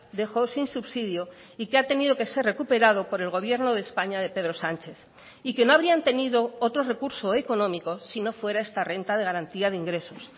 dejó sin subsidio y que ha tenido que ser recuperado por el gobierno de españa de pedro sánchez y que no habrían tenido otro recurso económico si no fuera esta renta de garantía de ingresos